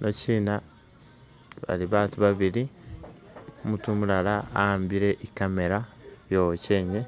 Bano kyina bali batu ba bili umutu umulala a'ambile i camera yo wakyenye